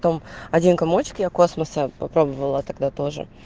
том один комочек я космоса попробовала тогда тоже